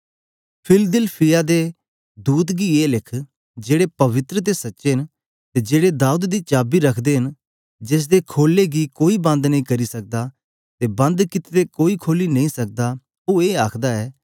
Philadelphia दे दूत गी ए लिख जेड़े पवित्र ते सच्चे न ते जेहड़ा दाऊद दी चाबी रखदा ऐ जेसदे खोले गी कोई बंद नेई करी सकदा ते बंद कित्ते दे कोई खोली नेई सकदा ओ ए आखदा ऐ के